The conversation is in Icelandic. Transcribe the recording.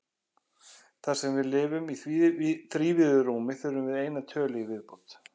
Þar sem við lifum í þrívíðu rúmi þurfum við eina tölu í viðbót.